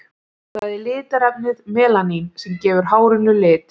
Það er litarefnið melanín sem gefur hárinu lit.